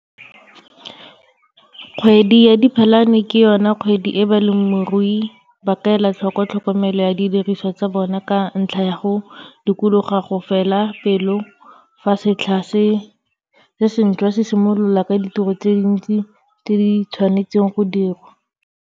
Kgwedi ya Diphalane ke yona kgwedi e balemirui ba ka ela tlhoko tlhokomelo ya didiriswa tsa bona ka ntlha ya go dikologa go fela pelo fa setlha se sentšwa simolola ka ditiro tse dintsi tse di tshwnaetsweng go dirwa.